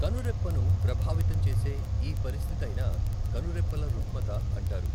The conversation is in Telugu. కనురెప్పను ప్రభావితం చేసే ఈపరిస్థితైనా కనురెప్పల రుగ్మత అంటారు.